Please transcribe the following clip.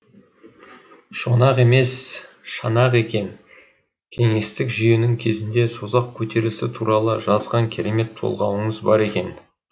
шонақ емес шанақ екен кеңестік жүйенің кезінде созақ көтерілісі туралы жазған керемет толғауыңыз бар екен